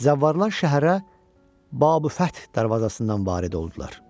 Zəvvarlar şəhərə Babü-l-Fəth darvazasından varid oldular.